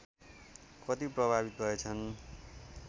कति प्रभावित भएछन्